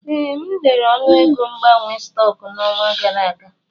Ee, m lere ọnụego mgbanwe stọks n'ọnwa gara aga.